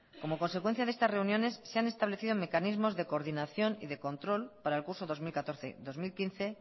como consecuencia de estas reuniones se han establecido mecanismos de coordinación y de control para el curso dos mil catorce dos mil quince